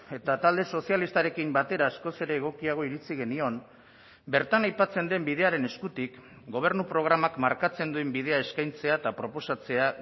eta talde sozialistarekin batera askoz ere egokiago iritzi genion bertan aipatzen den bidearen eskutik gobernu programak markatzen duen bidea eskaintzea eta proposatzea